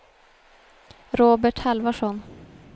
Robert Halvarsson